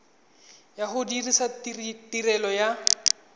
ya go dirisa tirelo ya